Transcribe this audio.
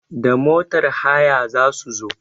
Da motar haya za su zo.